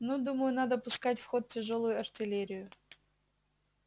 ну думаю надо пускать в ход тяжёлую артиллерию